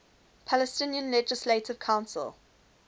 palestinian legislative council